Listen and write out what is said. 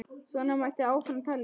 Svona mætti áfram telja.